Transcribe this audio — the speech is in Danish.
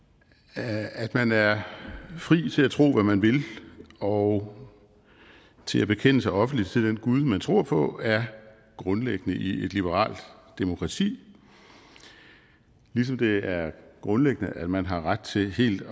at man er fri til at tro hvad man vil og til at bekende sig offentligt til den gud man tror på er grundlæggende i et liberalt demokrati ligesom det er grundlæggende at man har ret til helt